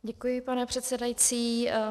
Děkuji, pane předsedající.